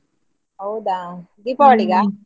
ಹೌದಾ ?